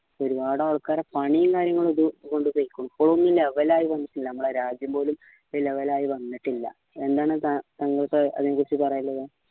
ഒരുപാട് ആൾക്കാരെ പണിയും കാര്യങ്ങളും ഒക്കെ കൊണ്ടു പോയിക്കണ് ഇപ്പോളും ഒന്ന് level ആയി വന്ന്ട്ടില്ല നമ്മളെ രാജ്യം പോലും level ആയി വന്നിട്ടില്ല എന്താണ് താങ്കൾക്ക് അതിനെക്കുറിച്ച് പറയാനുള്ളത്